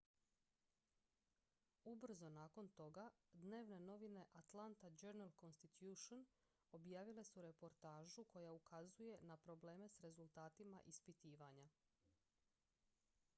ubrzo nakon toga dnevne novine atlanta journal-constitution objavile su reportažu koja ukazuje na probleme s rezultatima ispitivanja